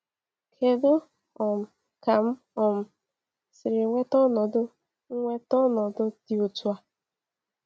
Kedụ um ka m um siri nweta ọnọdụ nweta ọnọdụ dị otú a?